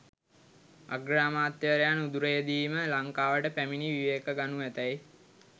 අග්‍රාමාත්‍යවරයා නුදුරේදීම ලංකාවට පැමණි විවේක ගනු ඇතැයි